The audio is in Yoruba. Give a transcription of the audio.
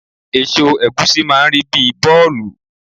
Èso ẹ̀gúsí máà ń rí bíi bọ́ọ̀lù